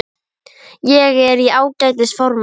Ég er í ágætis formi.